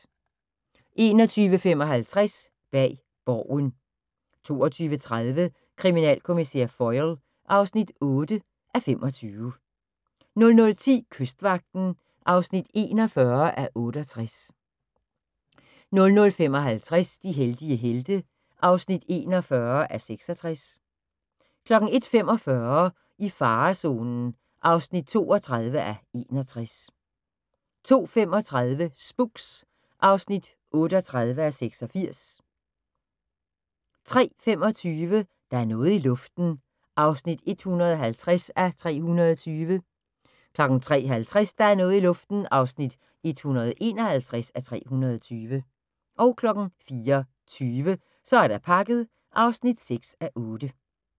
21:55: Bag Borgen 22:30: Kriminalkommissær Foyle (8:25) 00:10: Kystvagten (41:68) 00:55: De heldige helte (41:66) 01:45: I farezonen (32:61) 02:35: Spooks (38:86) 03:25: Der er noget i luften (150:320) 03:50: Der er noget i luften (151:320) 04:20: Så er der pakket (6:8)